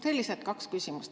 Sellised kaks küsimust.